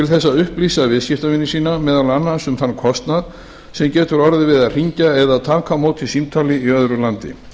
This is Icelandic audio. þess að upplýsa viðskiptavini sína meðal annars um þann kostnað sem getur orðið við að hringja eða taka á móti símtali í öðru landi